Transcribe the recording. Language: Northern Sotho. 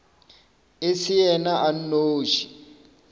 e se yena a nnoši